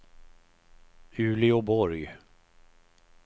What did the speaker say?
Uleåborg